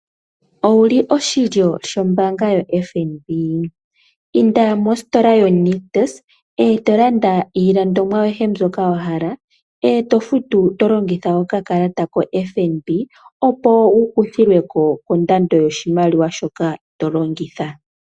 Owuli oshilyo shombaanga yotango yopashigwana? Inda mositola yaNictus eto landa iilandithomwa ayihe mbyoka wa hala eto futu tu longitha okakalata kombanga yotango yopashigwana opo wu kuthilweko kondando yoshimaliwa shoka to longitha.